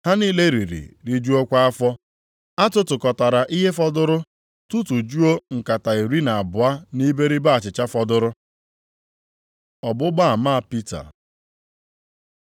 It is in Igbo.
Ha niile riri rijuokwa afọ, a tụtụkọtara ihe fọdụrụ, tụtụjuo nkata iri na abụọ nʼiberibe achịcha fọdụrụ. Ọgbụgba ama Pita